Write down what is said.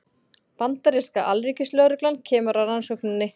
Bandaríska alríkislögreglan kemur að rannsókninni